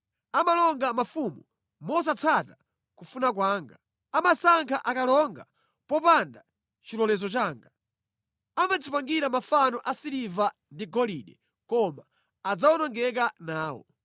Amalonga mafumu mosatsata kufuna kwanga. Amasankha akalonga popanda chilolezo changa. Amadzipangira mafano asiliva ndi agolide koma adzawonongeka nawo.